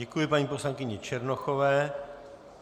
Děkuji paní poslankyni Černochové.